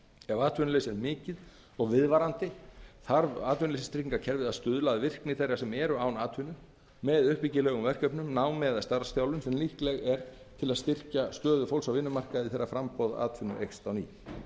ef atvinnuleysi er mikið og viðvarandi þarf atvinnuleysistryggingakerfið að stuðla að virkni þeirra sem eru án atvinnu með uppbyggilegum verkefnum námi eða starfsþjálfun sem líkleg eru til að styrkja stöðu fólks á vinnumarkaði þegar framboð atvinnu eykst